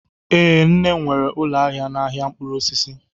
Ee, nne m nwere ụlọ ahịa n'ahịa mkpụrụ osisi